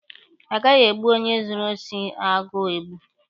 A gaghị egbu onye zuru osi agụọ egbu.